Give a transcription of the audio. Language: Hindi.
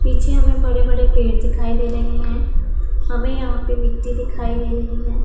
पीछे हमें बड़े बड़े पेड़ दिखाई दे रहे हैं हमें यहां पे मिट्टी दिखाई दे रही है।